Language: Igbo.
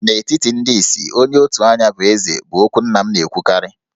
N'etiti ndị isi, onye otu anya bụ Eze' bụ okwu nna m na-ekwukarị.